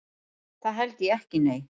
Það held ég ekki nei.